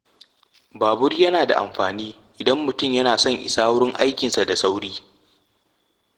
Babur yana da amfani idan mutum yana son isa wurin aikinsa da sauri.